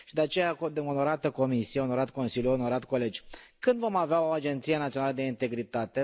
De aceea, onorată Comisie, onorat Consiliu, onorați colegi, când vom avea o agenție națională de integritate?